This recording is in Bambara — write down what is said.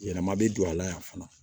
Yɛlɛma bɛ don a la yan fana